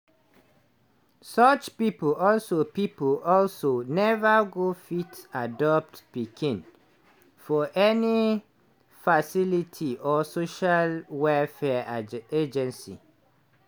such pipo also pipo also neva go fit adopt pikin for any facility or social welfare agency.